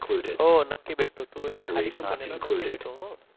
हो नक्की भेटू तू आली की पुण्याला नक्की भेटू अ